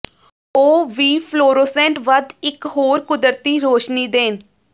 ਉਹ ਵੀ ਫਲੋਰੋਸੈੰਟ ਵੱਧ ਇੱਕ ਹੋਰ ਕੁਦਰਤੀ ਰੋਸ਼ਨੀ ਦੇਣ